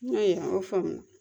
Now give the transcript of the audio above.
a faamu la